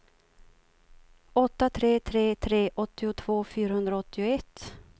åtta tre tre tre åttiotvå fyrahundraåttioett